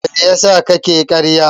Me yasa kake ƙarya?